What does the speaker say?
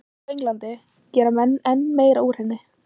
En hér á Englandi gera menn enn meira úr henni.